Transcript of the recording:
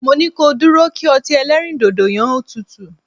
Mo ní ko dúró kí ọtí ẹlẹ́rìndòdò yẹ́n ó tutù!